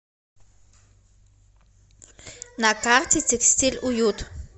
на карте текстиль уют